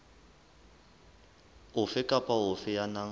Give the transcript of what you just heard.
ofe kapa ofe ya nang